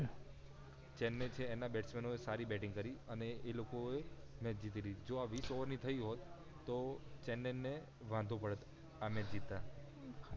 ચેન્નઈ છે એના બેસ્ટમેનો એ સારી બેટિંગ કરી અને એ લોકો એ મેચ જીતી લીધી હોત જો આ વિશ OVER ની થઈ હોત તો ચેન્નઈ ને વાંધો પડત મેચ જીતતા